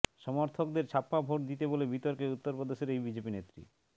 সমর্থকদের ছাপ্পা ভোট দিতে বলে বিতর্কে উত্তরপ্রদেশের এই বিজেপি নেত্রী